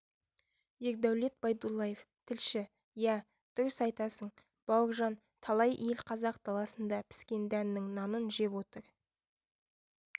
ердәулет байдуллаев тілші иә дұрыс айтасың бауыржан талай ел қазақ даласында піскен дәннің нанын жеп отыр